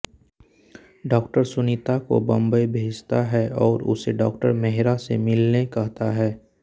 doctor Sunita को बॉम्बे भेजता है और उसे डॉ मेहरा से मिलने कहता है